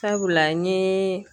Sabula n ye